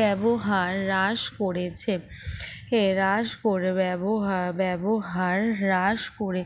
ব্যবহার রাস পড়েছে এ রাস পরে ব্যবহা~ ব্যবহার হ্রাস করে